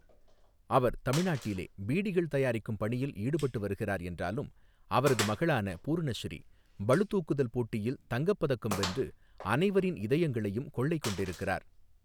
அவர் தமிழ்நாட்டிலே பீடிகள் தயாரிக்கும் பணியில் ஈடுபட்டு வருகிறார் என்றாலும், அவரது மகளான பூர்ணஸ்ரீ, பளுதூக்குதல் போட்டியில் தங்கப் பதக்கம் வென்று, அனைவரின் இதயங்களையும் கொள்ளை கொண்டிருக்கிறார்.